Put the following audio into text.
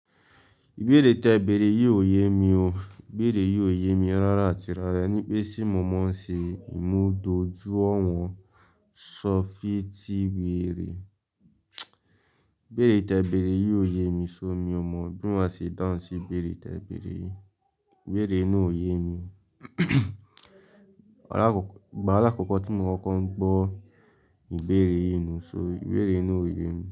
Ìbéèrè tẹ bèrè yìí ò ye mi o. Bèèrè yìí ò ye mi rárá àti rárá. Nípé tí mo mọ̀ ọ́n ṣe ìmúdójúwọ̀n ṣọfìtíwere. Bèèrè tẹ bèrè yìí ò ye mi so miọ̀ mo bí mà ṣe dáhùn sí bèèrè tẹ bèrè yìí. Bèèrè inú ò ye mi. Alakokọ̀, igbá alakọ́kọ̀ tí mo kọ́ ń gbọ́ ìbéèrè yìí nù só. Bèèrè na ò ye mi.